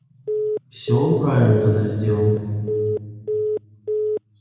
все он правильно тогда сделал